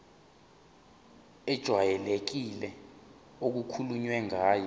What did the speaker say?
ejwayelekile okukhulunywe ngayo